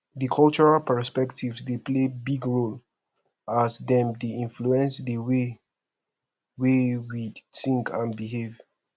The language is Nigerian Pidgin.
di cultural perspectives dey play big role as dem dey influence di way wey we think and behave